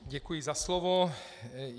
Děkuji za slovo.